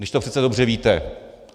Když to přece dobře víte!